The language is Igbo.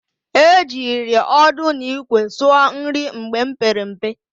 E jiri ọdụ n'ikwe sụọ nri mgbe m pere mpe.